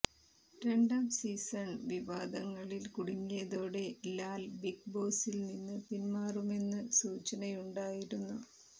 രണ്ടാം സീസൺ വിവാദങ്ങളിൽ കുടുങ്ങിയതോടെ ലാൽ ബിഗ് ബോസിൽ നിന്ന് പിന്മാറുമെന്ന് സൂചനയുണ്ടായിരുന്നു